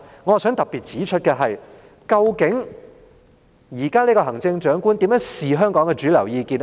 我想特別指出的是，究竟現任行政長官如何看香港的主流意見呢？